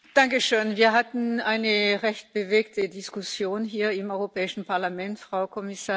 Wir hatten eine recht bewegte Diskussion hier im Europäischen Parlament, Frau Kommissarin.